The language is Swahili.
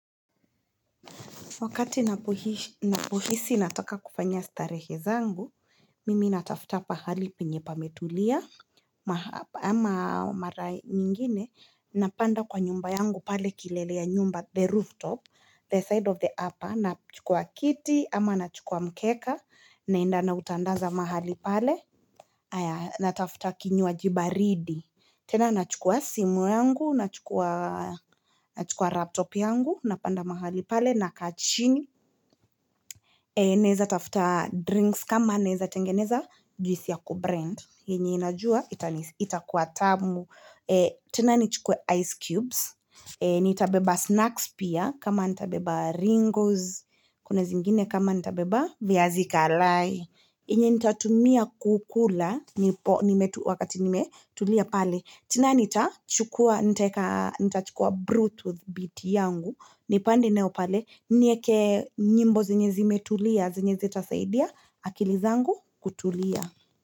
Wakati napuhisi natoka kufanya starehe zangu, mimi natafuta pahali pinye pametulia ama mara nyingine napanda kwa nyumba yangu pale kilelea nyumba the rooftop, the side of the upper, na chukua kiti ama na chukua mkeka, naenda na utandaza mahali pale, natafuta kinyu wa jibaridi. Tena nachukua simu yangu, nachukua laptop yangu, napanda mahali pale na kachini. Neza tafuta drinks kama neza tengeneza juisi ya kubrand. Hinyi inajua itakuatamu. Tena nichukue ice cubes. Nitabeba snacks pia kama nitabeba ringos. Kune zingine kama nitabeba vya zika lai. Hinyi nitatumia kukula nipo nimetu wakati nimetulia pale. Tina nitachukua, nitachukua Brutooth bt yangu, nipande neopale, nyeke nyimbo zinye zimetulia, zinye zetasaidia, akilizangu kutulia.